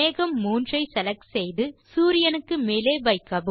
மேகம் 3 ஐ செலக்ட் செய்து சூரியனுக்கு மேலே வைக்கவும்